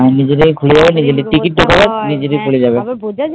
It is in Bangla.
হ্যা, নিজে থেকে খুলে যাবে, টিকিটটা দেখাবে নিজে নিজেই খুলে যাবে।